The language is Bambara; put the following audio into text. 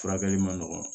Furakɛli man nɔgɔn